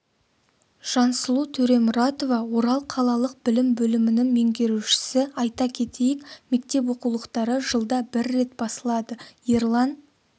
жансұлу төремұратова орал қалалық білім бөлімінің меңгерушісі айта кетейік мектеп оқулықтары жылда бір рет басылады ерлан